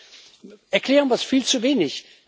Vielleicht erklären wir das viel zu wenig.